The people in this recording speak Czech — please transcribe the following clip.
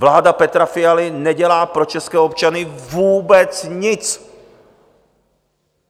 Vláda Petra Fialy nedělá pro české občany vůbec nic.